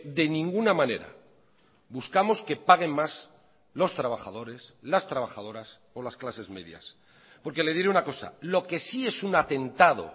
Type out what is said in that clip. de ninguna manera buscamos que paguen más los trabajadores las trabajadoras o las clases medias porque le diré una cosa lo que sí es un atentado